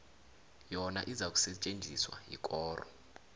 yona izakusetjenziswa yikoro